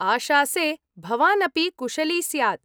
आशासे भवान् अपि कुशली स्यात्।